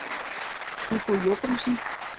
Hugo Jochumsen